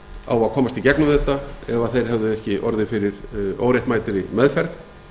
á að komast í gegnum þetta ef þeir hefðu ekki orðið fyrir óréttmæta meðferð